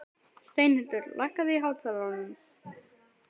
Steinhildur, lækkaðu í hátalaranum.